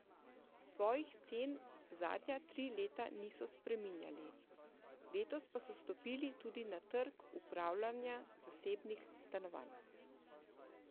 Svojih cen zadnja tri leta niso spreminjali, letos pa so stopili tudi na trg upravljanja zasebnih stanovanj.